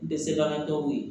Dɛsɛbagatɔw ye